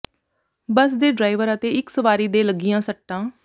ਬੱਸ ਦੇ ਡਰਾਈਵਰ ਅਤੇ ਇਕ ਸਵਾਰੀ ਦੇ ਲੱਗੀਆਂ ਸੱਟਾਂ